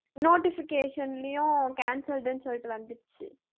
notification லயும் canceled ன்னு சொல்லிட்டு வந்துருச்சு